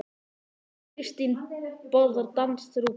Kristín borðar danskt rúgbrauð.